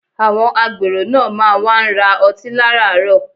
Àwọn agbèrò náà má wá ń ra ọtí láràárọ̀